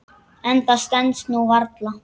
En það stenst nú varla.